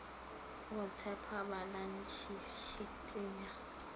go tshepa balantshe shiti ya